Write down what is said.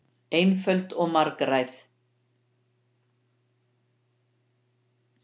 Einföld og margræð.